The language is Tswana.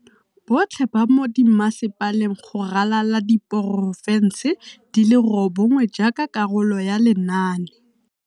Botlhe ba mo dimmasepaleng go ralala diporofense di le robongwe jaaka karolo ya lenaane.